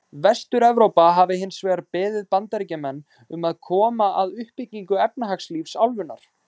Vestur-Evrópa hafi hins vegar beðið Bandaríkjamenn um að koma að uppbyggingu efnahagslífs álfunnar.